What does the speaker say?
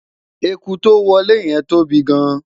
ẹkú to wolè yen tóbi gaan